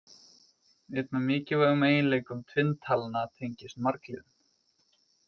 Einn af mikilvægum eiginleikum tvinntalna tengist margliðum.